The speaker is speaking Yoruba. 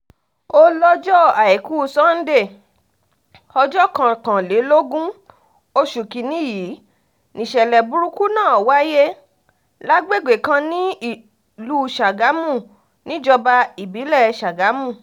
ó lọ́jọ́ àìkú sanńdé ọjọ́ kọkànlélógún oṣù kinni yìí nìṣẹ̀lẹ̀ burúkú náà wáyé lágbègbè kan nílùú sàgámù níjọba ìbílẹ̀ sàgámù